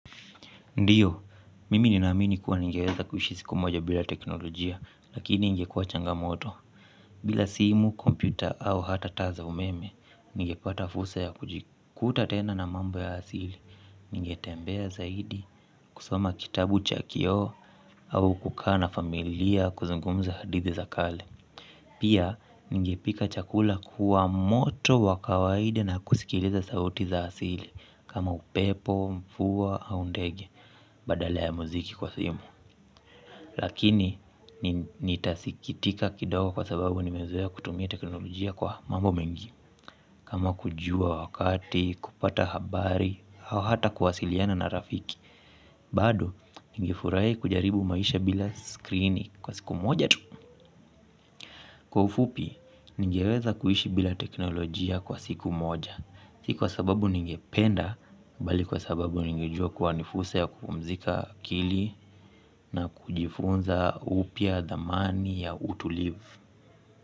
Ndiyo, mimi ninaamini kuwa ningeweza kuishi siku moja bila teknolojia, lakini ingekuwa changamoto. Bila simu, kompyuta au hata taa za umeme, ningepata fursa ya kujikuta tena na mambo ya asili. Ningetembea zaidi, kusoma kitabu cha kioo, au kukaa na familia kuzungumza hadithi za kale. Pia, ningepika chakula kwa moto wa kawaide na kusikiliza sauti za asili, kama upepo, mvua, au ndege. Badale ya muziki kwa simu lakini nitasikitika kidogo kwa sababu nimezoea kutumia teknolojia kwa mambo mengi kama kujua wakati, kupata habari, au hata kuwasiliana na rafiki. Bado, ningefurahi kujaribu maisha bila skrini kwa siku moja tu. Kwa ufupi, ningeweza kuishi bila teknolojia kwa siku moja. Si kwa sababu ningependa, bali kwa sababu ningejua kuwa ni fursa ya kupumzika akili na kujifunza upya thamani ya utulivu.